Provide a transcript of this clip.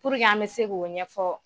an bɛ se k'o ɲɛ ɲɛfɔ